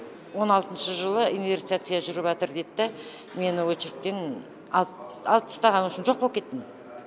он алтыншы жылы инверстация жүріп жатыр деді да мені очередьтен алып алып тастаған в общем жоқ болып кеттім